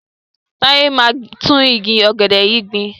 Táyé máa gbin tún igi ọ̀gẹ̀dẹ̀ yìí gbìn.